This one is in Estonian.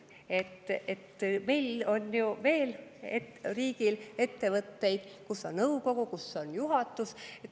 Meil on ju veel riigil ettevõtteid, kus on nõukogu, kus on juhatus.